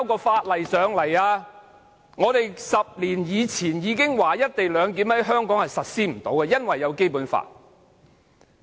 我們早在10年前便已指出"一地兩檢"無法在香港實施，因為有違《基本法》。